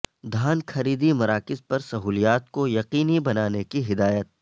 دھان خریدی مراکز پر سہولیات کو یقینی بنانے کی ہدایت